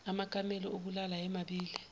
amakamelo okulala ayemabili